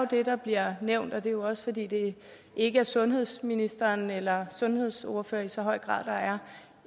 det der bliver nævnt og det er jo også fordi det ikke er sundhedsministeren eller sundhedsordførere i så høj grad der